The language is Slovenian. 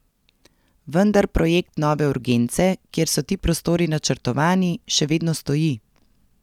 Vendar projekt nove urgence, kjer so ti prostori načrtovani, še vedno stoji.